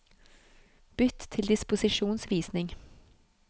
Bytt til disposisjonsvisning